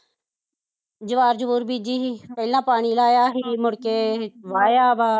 ਜਵਾਹਰ ਜੁਵਾਹਰ ਬੀਜੀ ਸੀ ਪਹਿਲਾਂ ਪਾਣੀ ਲਾਇਆ ਸੀ ਮੁੜਕੇ, ਵਾਹਿਆ ਵਾਂ